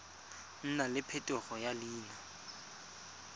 nna le phetogo ya leina